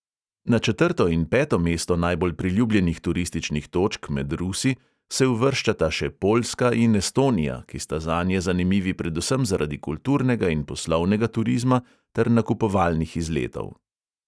Na četrto in peto mesto najbolj priljubljenih turističnih točk med rusi se uvrščata še poljska in estonija, ki sta zanje zanimivi predvsem zaradi kulturnega in poslovnega turizma ter nakupovalnih izletov.